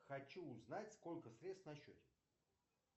хочу узнать сколько средств на счете